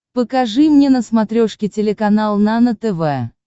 покажи мне на смотрешке телеканал нано тв